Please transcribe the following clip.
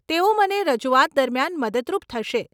તેઓ મને રજૂઆત દરમિયાન મદદરૂપ થશે.